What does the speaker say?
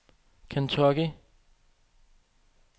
Kentucky